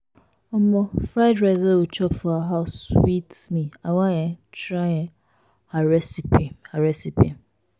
um fried rice wey we chop for her house sweet me i wan um try um her recipe her recipe